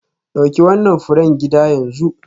Dauki wannan furen gida yanzu.